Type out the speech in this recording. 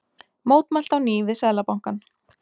Mótmælt á ný við Seðlabankann